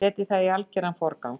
Setjið það í algeran forgang.